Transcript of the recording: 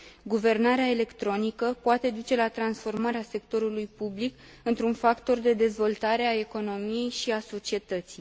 Guvernarea electronică poate duce la transformarea sectorului public într un factor de dezvoltare a economiei și a societății.